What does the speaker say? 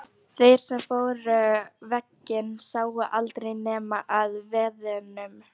Þeir sem fóru veginn sáu aldrei neina að veiðum.